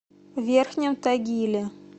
верхнем тагиле